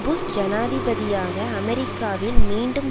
push ஜனாதிபதியாக அமெரிக்காவில் மீண்டும்